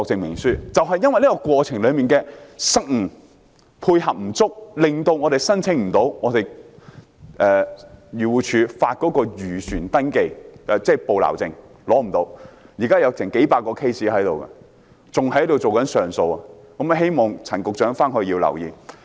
由於政府部門在有關過程中配合不足，令有些漁民無法申請漁護署發出的本地漁船登記證明書，現時有數百宗個案正等候上訴，希望陳局長多加留意。